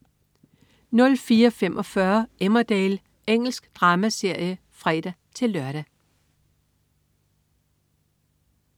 04.45 Emmerdale. Engelsk dramaserie (fre-lør)